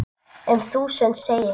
Um þúsund segir